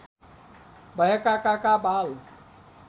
भएका काका बाल